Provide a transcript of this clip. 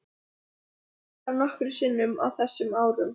Ég kom þar nokkrum sinnum á þessum árum.